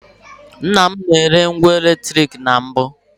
Nnam na-ere ngwa eletrik na mbụ.